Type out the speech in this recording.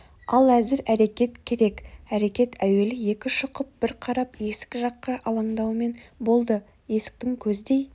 ал әзір әрекет керек әрекет әуелі екі шұқып бір қарап есік жаққа алаңдаумен болды есіктің көздей